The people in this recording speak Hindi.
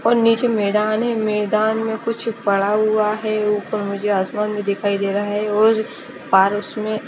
और नीचे मैंदान है मैंदान में कुछ पड़ा हुआ है उपर मुझे आसमान भी दिखाई देरा है और पारस में --